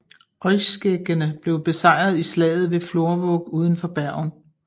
Øyskjeggene blev besejret i slaget ved Florvåg uden for Bergen